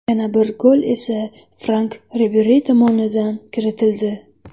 Yana bir gol esa Frank Riberi tomonidan kiritildi.